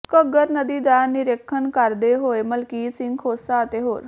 ਘੱਗਰ ਨਦੀ ਦਾ ਨਿਰੀਖਣ ਕਰਦੇ ਹੋਏ ਮਲਕੀਤ ਸਿੰਘ ਖੋਸਾ ਅਤੇ ਹੋਰ